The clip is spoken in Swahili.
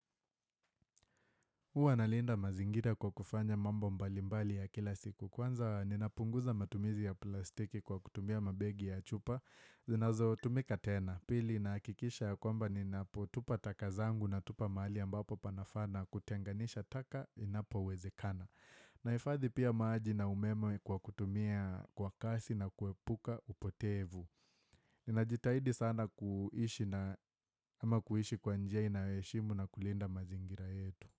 Uwa nalinda mazingira kwa kufanya mambo mbali mbali ya kila siku. Kwanza, ninapunguza matumizi ya plastiki kwa kutumia mabegi ya chupa. Zinazo tumika tena. Pili, nahakikisha ya kwamba ninapotupa takazangu na tupa mahali ambapo panafaa kutenganisha taka inapo wezekana. Naifadhi pia maji na umeme kwa kutumia kwa kasi na kuepuka upoteevu. Ninajitahidi sana kuhishi na ama kuhishi kwa njia inayo heshimu na kulinda mazingira yetu.